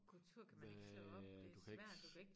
Kultur kan man ikke slå op det svært du kan ik